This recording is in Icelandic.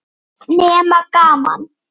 Nema gaman.